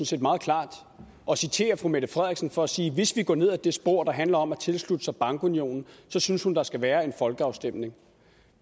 set meget klart og citerer fru mette frederiksen for at sige at hvis vi går ned ad det spor der handler om at tilslutte sig bankunionen så synes hun der skal være en folkeafstemning